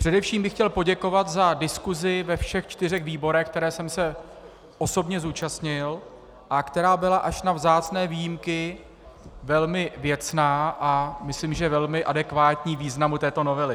Především bych chtěl poděkovat za diskusi ve všech čtyřech výborech, které jsem se osobně zúčastnil a která byla až na vzácné výjimky velmi věcná, a myslím, že velmi adekvátní významu této novely.